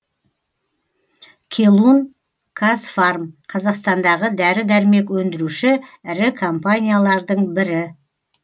келун казфарм қазақстандағы дәрі дәрмек өндіруші ірі компаниялардың бірі